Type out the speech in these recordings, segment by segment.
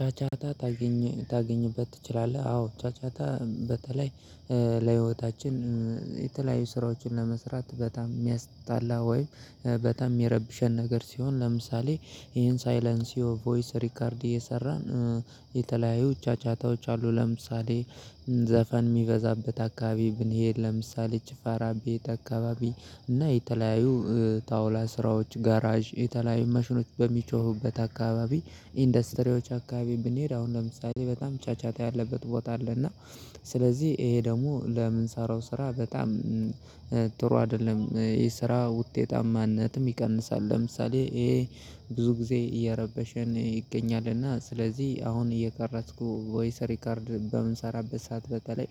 ጫጫታ ታገኝ ታገኝበት ትችላለህ አዎ ጫጫታ በተለይ ለህይወታችን የተለያዩ ስራዎችን ለመስራት በጣም የሚያስጣላ ወይ በጣም ሚረብሸን ነገር ሲሆን ለምሳሌ ይሄን ሳይለንሲኦ ቮይስ ሪከርድ እየሰራን የተለያዩ ጫጫታዎች አሉ። ለምሳሌ ዘፈን ሚበዛበት አካባቢ ብንሄድ ለምሳሌ ጭፋራ ቤት አካባቢ እና የተለያዩ ጣውላ ስራዎች ጋራዥ የተለያዩ ማሽኖች በሚጮሁበት አካባቢ ኢንዱስትሪዎች አካባቢ ብንሄድ አሁን ለምሳሌ በጣም ጫጫታ ያለበት ቦታ አለ እና ስለዚህ ይሄ ደግሞ ለምንሰራው ስራ በጣም ጥሩ አይደለም። ይሄ ስራ ውጤታማነትም ይቀንሳል። ለምሳሌ ይሄ ብዙ ጊዜ እየረበሸን ይገኛልና ስለዚህ አሁን እየቀረጽኩ ቮይስ ሪከርድ በምንሰራበት ሰዓት በተለይ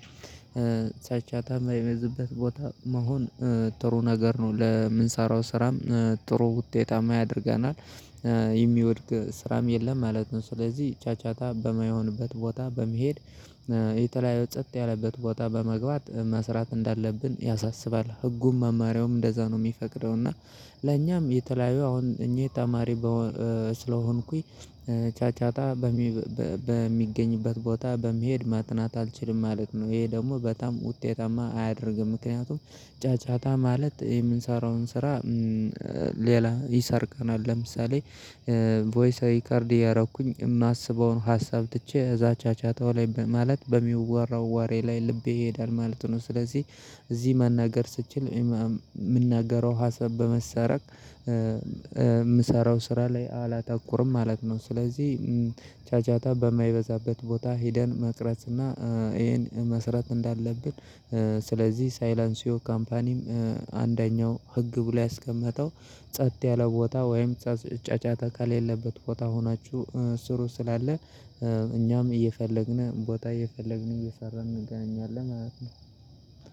ጫጫታ ማይበዛበት ቦታ መሆን ጥሩ ነገር ነው። ለምንሰራው ስራም ጥሩ ውጤታማ ያደርገናል። የሚወድቅ ስራም የለም ማለት ነው። ስለዚህ ጫጫታ በማይሆንበት ቦታ በመሄድ የተለያየ ጸት ያለበት ቦታ በመግባት መስራት እንዳለብን ያሳስባል። ህጉም መማሪያውም እንደዛ ነው ሚፈቅደው እና ለኛም የተለያዩ አሁን እኔ ተማሪ ስለሆንኩኝ ጫጫታ በሚገኝበት ቦታ በመሄድ ማጥናት አልችልም ማለት ነው። ይሄ ደግሞ በጣም ውጤታማ አያደርግም። ምክንያቱም ጫጫታ ማለት የምንሰራውን ስራ ሌላ ይሰርቀናል ለምሳሌ ቮይስ ሪከርድ እያረኩኝ የማስበውን ሀሳብ ትቼ እዛ ጫጫታው ላይ በማለት በሚወራው ወሬ ላይ ልቤ ይሄዳል ማለት ነው። ስለዚህ እዚህ መናገር ስችል የምናገረው ሀሳብ በመሰረቅ ምሰራው ስራ ላይ አላተኩርም ማለት ነው። ስለዚህ ጫጫታ በማይበዛበት ቦታ ሄደን መቅረጽ እና ይሄን መሰራት እንዳለብን ስለዚህ ሳይለንሲዮ ካምፓኒም አንደኛው ህግ ብሎ ያስቀመጠው ጸጥ ያለ ቦታ ወይም ጫጫታ ከሌለበት ቦታ ሆናችሁ ስሩ ስላለ እኛም እየፈለግን ቦታ እየፈለግን እየሰራን እንገናኛለን ማለት ነው።